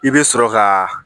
I bɛ sɔrɔ ka